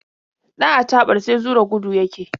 Ɗan acaɓar sai zura gudu yake.